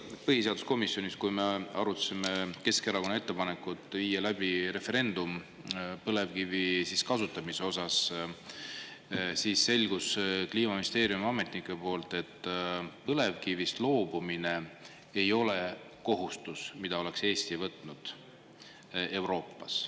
No eile põhiseaduskomisjonis, kui me arutasime Keskerakonna ettepanekut viia läbi referendum põlevkivi kasutamise osas, siis selgus Kliimaministeeriumi ametnike poolt, et põlevkivist loobumine ei ole kohustus, mida oleks Eesti võtnud Euroopas.